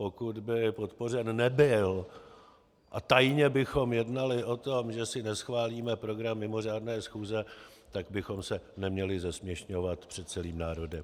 Pokud by podpořen nebyl a tajně bychom jednali o tom, že si neschválíme program mimořádné schůze, tak bychom se neměli zesměšňovat před celým národem.